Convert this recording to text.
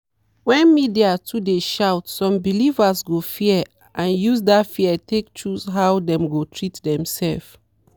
when media too dey shout some believers go fear and use that fear take choose how dem go treat demself.